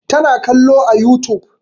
Ta na kallo a youtube